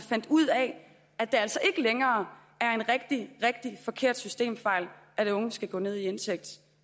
ud af at det altså ikke længere er en rigtig rigtig forkert systemfejl at de unge skal gå ned i indtægt